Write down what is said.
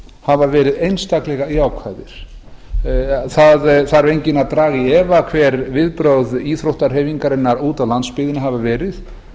hafa verið einstaklega jákvæðir enginn þarf að draga í efa hver viðbrögð íþróttahreyfingarinnar úti á landsbyggðinni hafa verið